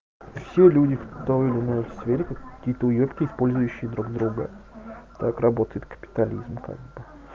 всё люди в той или иной сфере какие-то уебки использующие друг друга так работает капитализм как бы